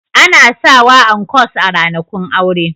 Ana sawa ankos a ranakun aure